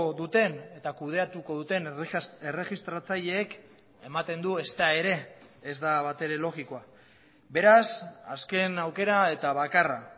duten eta kudeatuko duten erregistratzaileek ematen du ezta ere ez da batere logikoa beraz azken aukera eta bakarra